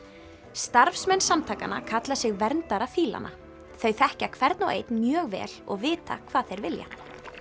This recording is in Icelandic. starfsmenn samtakanna kalla sig verndara þau þekkja hvern og einn mjög vel og vita hvað þeir vilja